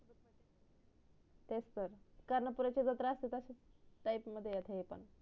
तेच तर कर्ण पुर्‍याची जत्रा असते तश्याच type मध्ये हे पण